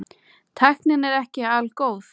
Tæknin er ekki algóð.